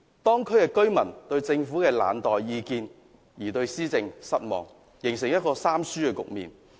當區居民面對政府冷待意見，對施政感到失望，形成一個"三輸"的局面。